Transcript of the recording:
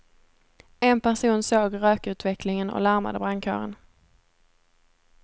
En person såg rökutvecklingen och larmade brandkåren.